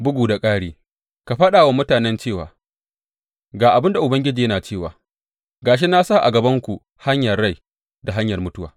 Bugu da ƙari, ka faɗa wa mutanen cewa, Ga abin da Ubangiji yana cewa, ga shi na sa a gabanku hanyar rai da hanyar mutuwa.